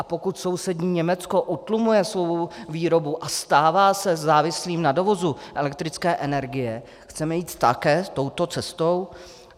A pokud sousední Německo utlumuje svou výrobu a stává se závislým na dovozu elektrické energie, chceme jít také touto cestou?